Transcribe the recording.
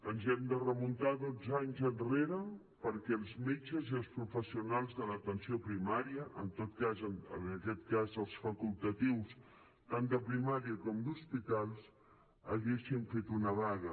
ens hem de remuntar dotze anys enrere perquè els metges i els professionals de l’atenció primària en tot cas en aquest cas els facultatius tant de primària com d’hospitals haguessin fet una vaga